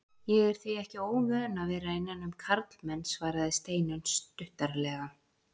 Ég er því ekki óvön að vera innan um karlmenn, svaraði Steinunn stuttaralega.